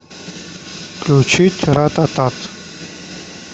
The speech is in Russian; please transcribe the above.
включить рататат